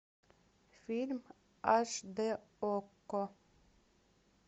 фильм аш д окко